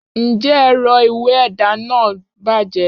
njẹ erò ìwé ẹda nah bajé?